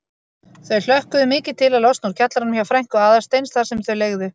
Þau hlökkuðu mikið til að losna úr kjallaranum hjá frænku Aðalsteins þar sem þau leigðu.